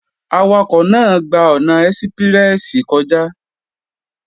Awakọ̀ náà gba ọ̀nà ẹ́síprẹ́sì kọjá